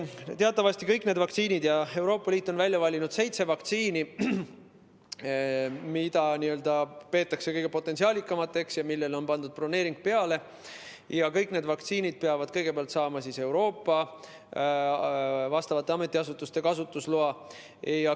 Teatavasti peavad kõik need vaktsiinid – Euroopa Liit on välja valinud seitse vaktsiini, mida peetakse kõige potentsiaalikamaks, neile on pandud broneering peale – kõigepealt saama Euroopa vastavatelt ametiasutustelt kasutusloa.